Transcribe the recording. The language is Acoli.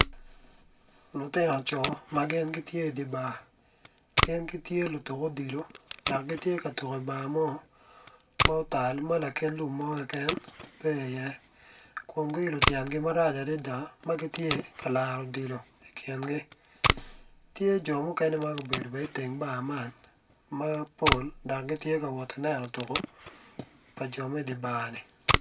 Lutino coo magin gitye i dibar gin gitye lutuko odilo dok gitye katuko i dibar mo ma otal ma lakit lum mo keken pe i ye kun lutyen gi rac adada magitye ka laro odilo i tyengi, tye jo mukene magubedo bene i teng bar man mapol dok gitye ka wot ineno tuko pa jo me dibar ni.